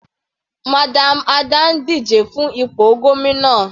Madam Ada ń díje fún ipò gómìnà.